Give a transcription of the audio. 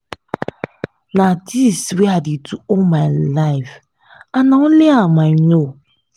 na dis wey i dey do all my life and na only am i no